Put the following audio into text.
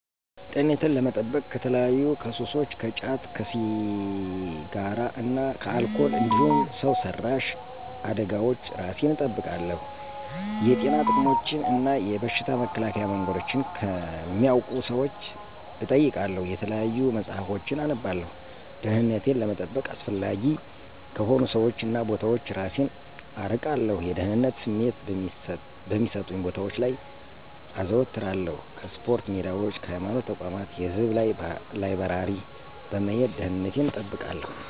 -ጤንነቴን ለመጠበቅ ከተለያዩ ከሱሶች ከጫት፣ ከሲራ እና ከአልኮል እንዲሁም ሠው ሰራሽ አደጋወች እራሴን እጠብቃለሁ። የጤና ጥቅሞችን እና የበሽታ መከላከያ መንገዶችን ከሚያውቁ ሠዎች እጠይቃለሁ የተለያዩ መፅሀፎችን አነባለሁ። -ደህንነቴን ለመጠበቅ አላስፈላጊ ከሆኑ ሠዎች እና ቦታዎች እራሴን አርቃለሁ። የደህንነት ስሜት በሚሠጡኝ ቦታወች ላይ አዞትራለሁ ከስፖርታ ሜዳዎች ከሀይማኖት ተቋማት የህዝብ ላይበራሪ በመሄድ ደንነቴን እጠብቃለሁ